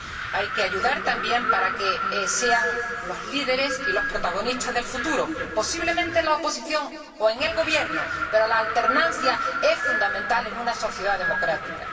Hay que ayudarle también, para que sean los líderes y los protagonistas del futuro, posiblemente en la oposición, o en el Gobierno, pero la alternancia es fundamental en una sociedad democrática.